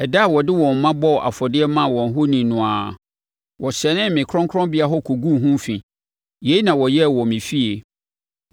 Ɛda a wɔde wɔn mma bɔɔ afɔdeɛ maa wɔn ahoni no ara, wɔhyɛnee me kronkronbea hɔ kɔguu ho fi. Yei na wɔyɛɛ wɔ me fie.